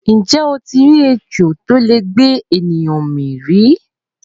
Ǹjẹ́ o ti rí ejò tó lè gbé ènìyàn mì rí?